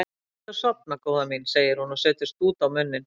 Reyndu að sofna góða mín, segir hún og setur stút á munninn.